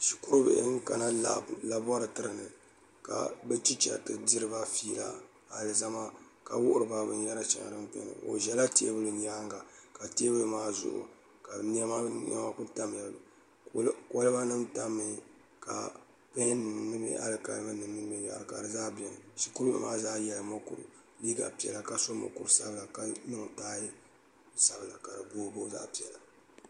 shikurubihi n kana laabi ka bɛ ticha ti diri bafiila a lizamaka wuhiriba bin yɛri shɛŋao zɛla tɛɛbuli nyaaŋa loori maazuɣu ka nema nema kolibanim tam mi ka pɛnim mini bin yɛra shikuru bihi maa zaa sola mukuru sabila ka niŋ taaya sabila ka niŋ taaaya sabila ka di booi booi zaɣ' piɛla